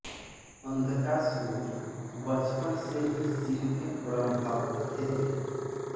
अंधकासुर बचपन से ही शिव के परम भक्त थे